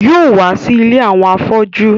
Yóò wá sí ilé àwọn afọ́jú